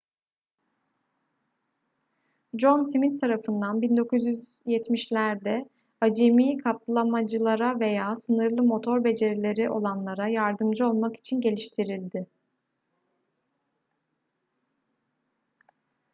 john smith tarafından 1970'lerde acemi katlamacılara veya sınırlı motor becerileri olanlara yardımcı olmak için geliştirildi